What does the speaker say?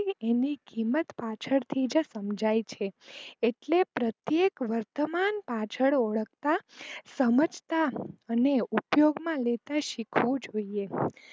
કે એની કિંમત પાછળ થી સમજાય છે એટલે પ્રત્યેક વર્તમાન પાછળ ઓળખતા, સમજતા, અને ઉપયોગ માં લેતા શીખવું જોઈએ.